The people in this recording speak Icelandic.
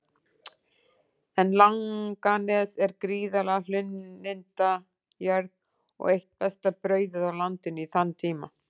En Langanes er gríðarleg hlunnindajörð og eitt besta brauðið á landinu í þann tíma.